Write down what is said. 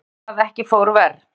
Mildi að ekki fór verr